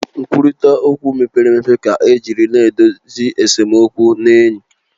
Nkwurịta okwu mepere emepe ka ejiri na-edozi esemokwu na enyi